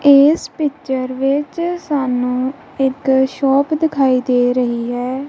ਇਸ ਪਿਚਰ ਵਿੱਚ ਸਾਨੂੰ ਇੱਕ ਸ਼ੋਪ ਦਿਖਾਈ ਦੇ ਰਹੀ ਹੈ।